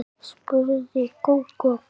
spurði Gógó kát.